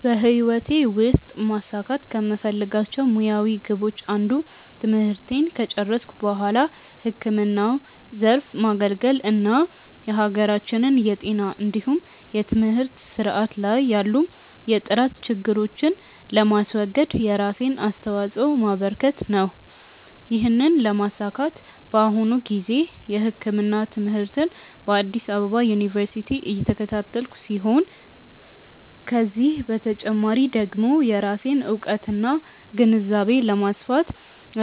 በህይወቴ ውስጥ ማሳካት ከምፈልጋቸው ሙያዊ ግቦች አንዱ ትምህርቴን ከጨረስኩ በኋላ ህክምናው ዘርፍ ማገልገል እና የሀገራችንን የጤና እንዲሁም የትምህርት ስርዓት ላይ ያሉ የጥራት ችግሮችን ለማስወገድ የራሴን አስተዋጾ ማበረከት ነው። ይህንን ለማሳካት በአሁኑ ጊዜ የህክምና ትምህርትን በአዲስ አበባ ዩኒቨርሲቲ እየተከታተልኩ ሲሆን ከዚህ በተጨማሪ ደግሞ የራሴን እውቀትና ግንዛቤ ለማስፋት